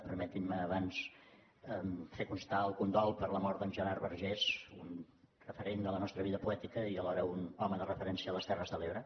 permetin me abans fer constar el condol per la mort d’en gerard vergés un referent de la nostra vida poètica i alhora un home de referència a les terres de l’ebre